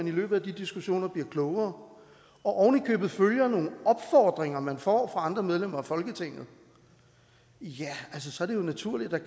i løbet af de diskussioner bliver klogere og oven i købet følger nogle opfordringer man får andre medlemmer af folketinget ja så er det jo naturligt at